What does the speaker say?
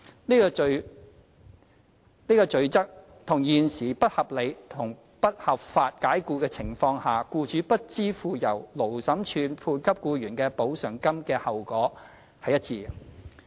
此罰則與現時在不合理及不合法解僱的情況下，僱主不支付由勞審處判給僱員的補償金的後果一致。